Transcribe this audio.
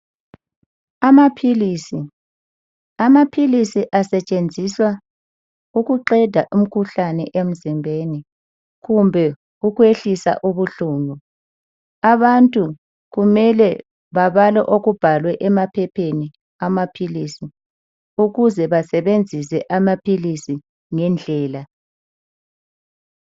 Amaphilisi: Amaphilisi asetshenziswa ukuqeda umkhuhlane emzimbeni kumbe ukwehlisa ubuhlungu. Abantu kumele babale okubhalwe emaphepheni amaphilisi ukuze basebenzise amaphilisi ngendlela.